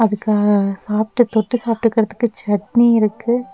க சாப்ட்டு தொட்டு சாப்ட்டுகிறதுக்கு சட்னி இருக்கு.